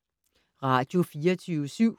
Radio24syv